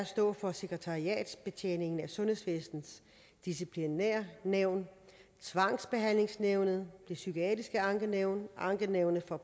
stå for sekretariatsbetjeningen af sundhedsvæsenets disciplinærnævn tvangsbehandlingsnævnet det psykiatriske ankenævn ankenævnet for